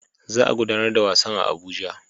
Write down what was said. Za a gudanar da wasan a Abuja